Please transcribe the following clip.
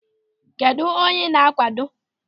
Kedụ onye ị na-akwado?